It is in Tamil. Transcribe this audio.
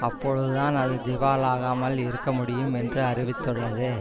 அப்பொழுது தான் அது திவாலாகமல் இருக்க முடியும் என்று அறிவித்துள்ளது